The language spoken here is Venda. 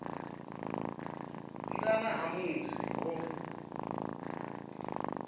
nga nnḓa ha musi ho